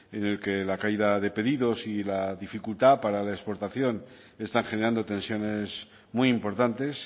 en el que la caída de pedidos y la dificultad para la exportación están generando tensiones muy importantes